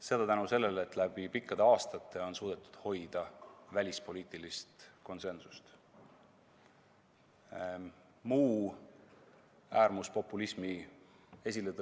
Seda tänu sellele, et läbi pikkade aastate on suudetud hoida välispoliitilist konsensust, hoolimata äärmuspopulismi esiletõusust.